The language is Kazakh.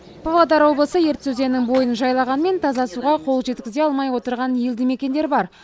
павлодар облысы ертіс өзенінің бойын жайлағанмен таза суға қол жеткізе алмай отырған елді мекендер бар